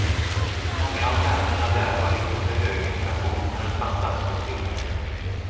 Många av länderna där har lite för hög inflation men en fantastisk tillväxt.